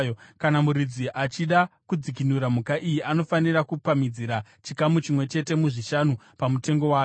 Kana muridzi achida kudzikinura mhuka iyi, anofanira kupamhidzira chikamu chimwe chete muzvishanu pamutengo wayo.